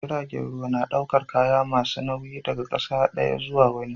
Jiragen ruwa na daukar kaya masu nauyi daga ƙasa daya zuwa wani